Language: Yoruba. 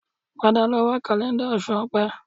Padà lọ wo kàlẹ́ńdà Oṣù Opẹ́